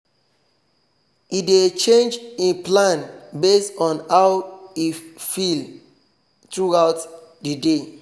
e dey change e plan base on how on how e feel throughout the day